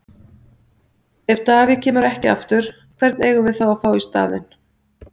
Ef David kemur ekki aftur, hvern eigum við þá að fá í staðinn?